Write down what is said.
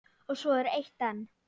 Og svo er eitt enn.